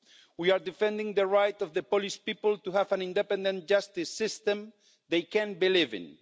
We are defending the right of the Polish people to have an independent justice system they can believe in.